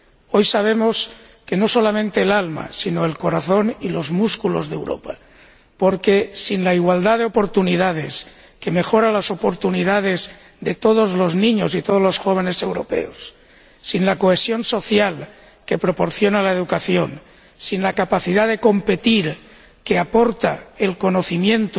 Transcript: Hoy sabemos que no solamente el alma, sino el corazón y los músculos de Europa, porque, sin la igualdad de oportunidades, que mejora las oportunidades de todos los niños y de todos los jóvenes europeos, sin la cohesión social que proporciona la educación, sin la capacidad de competir que aporta el conocimiento